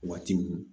Waati min